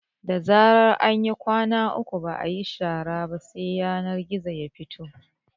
Da zarar an yi kwana uku ba ayi shara ba sai yanar gizo su fito